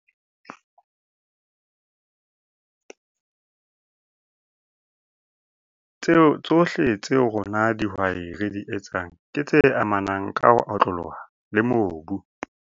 Tsohle tseo rona dihwai re di etsang ke tse amanang ka ho otloloha le mobu.